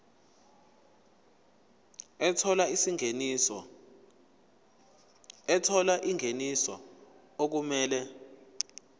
ethola ingeniso okumele